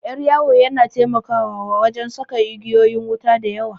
Ƴar yawu yana taimakawa wajan saka igeyoyin wuta da yawa